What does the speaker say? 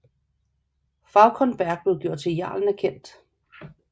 Fauconberg blev gjort til jarlen af Kent